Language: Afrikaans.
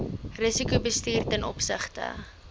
risikobestuur ten opsigte